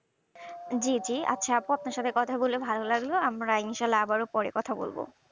জি জি আচ্ছা আপু আপনার সাথে কথা বলে ভালো লাগল ও ারা আবারো ইনশাআল্লাহ আবারো কথা বলবো